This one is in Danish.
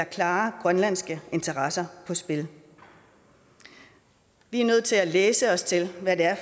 klare grønlandske interesser på spil vi er nødt til at læse os til hvad